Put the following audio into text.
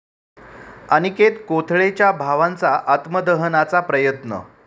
अनिकेत कोथळेच्या भावांचा आत्मदहनाचा प्रयत्न